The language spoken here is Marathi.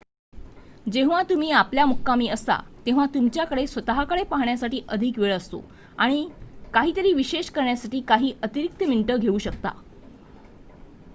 जेव्हा तुम्ही आपल्या मुक्कामी असता तेव्हा तुमच्या कडे स्वत:कडे पाहण्यासाठी अधिक वेळ असतो आणि काही तरी विशेष करण्यासाठी काही अतिरीक्त मिनिट घेऊ शकता